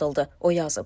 O yazıb.